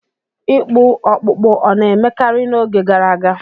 Ịkpụ ọkpụkpụ ọ̀ na-emekarị n'oge gara aga?